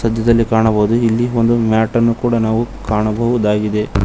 ಮಧ್ಯದಲ್ಲಿ ಕಾಣಬಹುದು ಇಲ್ಲಿ ಒಂದು ಮ್ಯಾಟ್ ಅನ್ನು ಕೂಡ ನಾವು ಕಾಣಬಹುದಾಗಿದೆ.